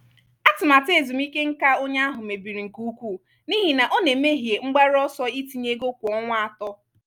atụmatụ ezumike nká onye ahụ mebiri nke ukwuu n’ihi na ọ na-emehie mgbaru ọsọ itinye ego kwa ọnwa atọ.